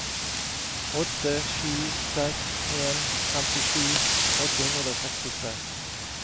åtte sju seks en femtisju åtte hundre og sekstitre